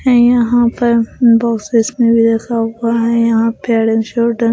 यहां पर बॉक्स इसमें भी रखा हुआ है यहां पर हेड एंड शोल्डर --